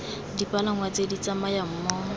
dipalangwa tse di tsamayang mo